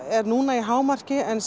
er núna í hámarki en